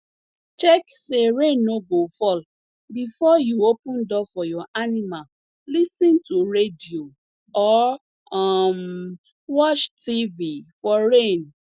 check say rain no go fall before you open door for your animal lis ten to radio or um watch tv for rain